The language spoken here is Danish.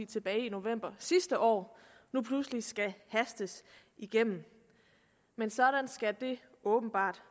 tilbage i november sidste år nu pludselig skal hastes igennem men sådan skal det åbenbart